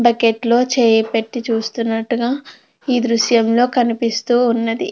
Bucket లో చెయ్యి పెట్టి చూస్తున్నట్టుగా ఈ దృశ్యంలో కనిపిస్తూ ఉన్నది.